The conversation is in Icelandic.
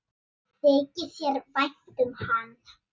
Þykir þér vænt um hann?